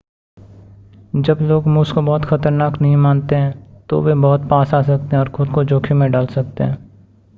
जब लोग मूस को बहुत ख़तरनाक नहीं मानते हैं तो वे बहुत पास आ सकते हैं और खुद को जोख़िम में डाल सकते हैं